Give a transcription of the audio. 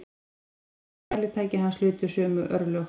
Hin rómuðu mælitæki hans hlutu sömu örlög.